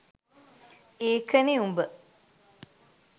ඒකනෙ උඹ